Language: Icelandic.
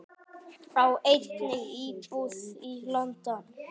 Á einnig íbúð í London.